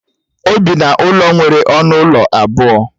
O bi n'ụlọ nwere ọnụ ụlọ abụọ